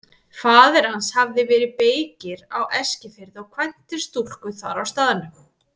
Faðir hans hafði verið beykir á Eskifirði og kvæntist stúlku þar á staðnum.